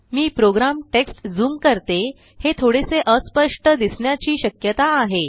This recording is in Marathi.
मी प्रोग्राम टेक्स्ट ज़ूम करते हे थोडेसे अस्पष्ट दिसण्याची श्यकता आहे